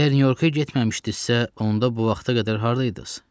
Əgər Nyu-Yorka getməmişdinizsə, onda bu vaxta qədər hardaydız?